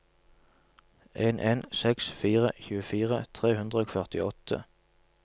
en en seks fire tjuefire tre hundre og førtiåtte